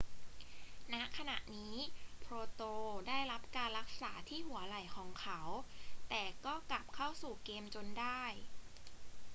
ณ ขณะนี้ potro ได้รับการรักษาที่หัวไหล่ของเขา แต่ก็กลับเข้าสู่เกมจนได้